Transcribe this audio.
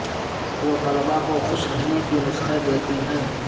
وہ طلبہ کو خوش رہنے کے نسخے دیتی ہیں